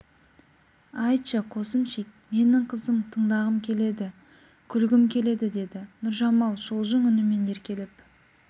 айтшы қосымчик менң қызық тыңдағым келеді күлгім келеді деді нұржамал шолжың үнімен еркелеп